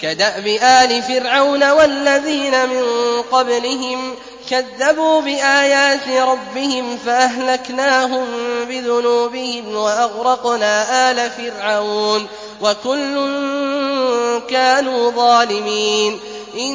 كَدَأْبِ آلِ فِرْعَوْنَ ۙ وَالَّذِينَ مِن قَبْلِهِمْ ۚ كَذَّبُوا بِآيَاتِ رَبِّهِمْ فَأَهْلَكْنَاهُم بِذُنُوبِهِمْ وَأَغْرَقْنَا آلَ فِرْعَوْنَ ۚ وَكُلٌّ كَانُوا ظَالِمِينَ